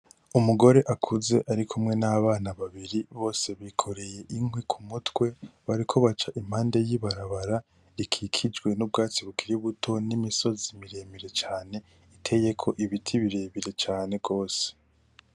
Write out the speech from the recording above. Umugore akuze ari kumwe n'abana babiri, bose bikoreye inkwi ku mutwe. Bariko baca impande y'ibarabara ikikijwe n'ubwatsi bukiri buto n'imisozi miremire cane iteyeko ibiti birebire cane gose.